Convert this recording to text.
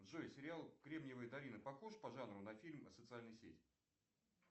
джой сериал кремниевая долина похож по жанру на фильм социальная сеть